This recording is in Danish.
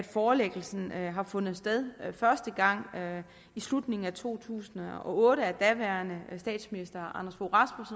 forelæggelsen har fundet sted første gang i slutningen af to tusind og otte af daværende statsminister anders fogh